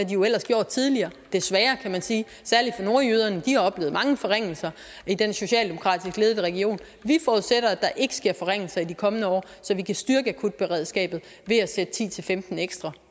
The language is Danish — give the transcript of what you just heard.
jo ellers gjort tidligere desværre kan man sige særlig for nordjyderne de har oplevet mange forringelser i den socialdemokratisk ledede region vi forudsætter at der ikke sker forringelser i de kommende år så vi kan styrke akutberedskabet ved at sætte ti til femten ekstra